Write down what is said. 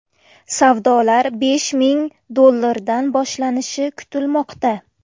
Savdolar besh ming dollardan boshlanishi kutilmoqda.